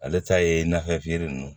Ale ta ye nafɛ nunnu